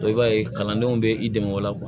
i b'a ye kalandenw bɛ i dɛmɛ o la